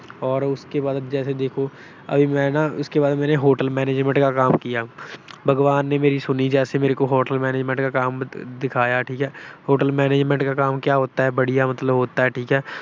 ਔਰ ਉਸਕੇ ਬਾਅਦ ਅਬ ਜੈਸੇ ਦੇਖੋ, ਅਬੀ ਮੈਂ ਨਾ Hotel Manangement ਕਾ ਕਾਮ ਕੀਆ। ਭਗਵਾਨ ਨੇ ਮੇਰੀ ਸੁਣੀ, ਜੈਸੇ ਮੇਰੇ ਕੋ Hotel Manangement ਕਾ ਕਾਮ ਦਿਖਾਇਆ, ਠੀਕ ਆ। Hotel Manangement ਕਾ ਕਾਮ ਕਿਆ ਹੋਤਾ ਹੈ, ਵਡੀਆ ਮਤਲਬ ਹੋਤਾ ਹੈ, ਠੀਕ ਏ।